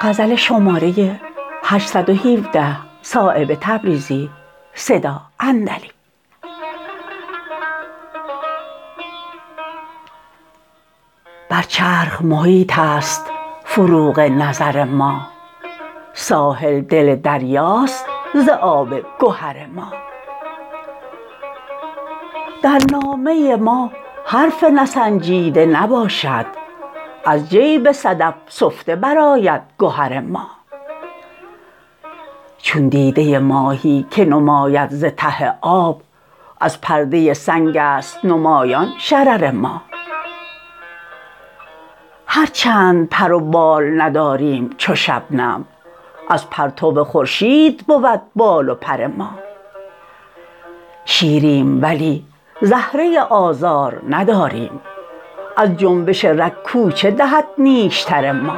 بر چرخ محیط است فروغ نظر ما ساحل دل دریاست ز آب گهر ما در نامه ما حرف نسنجیده نباشد از جیب صدف سفته برآید گهر ما چون دیده ماهی که نماید ز ته آب از پرده سنگ است نمایان شرر ما هرچند پر و بال نداریم چو شبنم از پرتو خورشید بود بال و پر ما شیریم ولی زهره آزار نداریم از جنبش رگ کوچه دهد نیشتر ما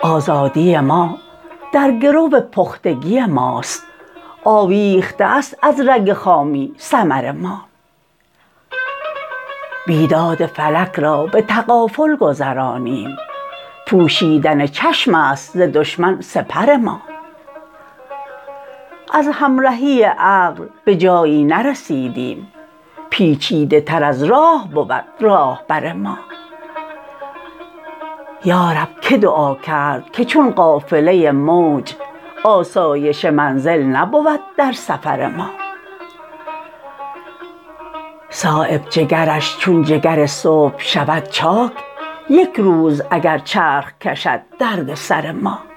آزادی ما در گرو پختگی ماست آویخته است از رگ خامی ثمر ما بیداد فلک را به تغافل گذرانیم پوشیدن چشم است ز دشمن سپر ما از همرهی عقل به جایی نرسیدیم پیچیده تر از راه بود راهبر ما یارب که دعا کرد که چون قافله موج آسایش منزل نبود در سفر ما صایب جگرش چون جگر صبح شود چاک یک روز اگر چرخ کشد دردسر ما